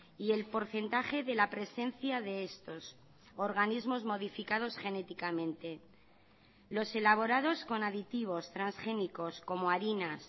y el porcentaje de la presencia de estos organismos modificados genéticamente los elaborados con aditivos transgénicos como harinas